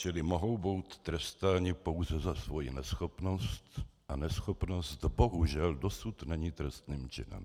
Čili mohou být trestáni pouze za svoji neschopnost a neschopnost bohužel dosud není trestným činem.